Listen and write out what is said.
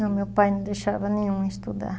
Não, meu pai não deixava nenhum estudar.